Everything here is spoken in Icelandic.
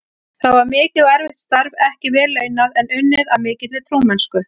Það var mikið og erfitt starf, ekki vel launað, en unnið af mikilli trúmennsku.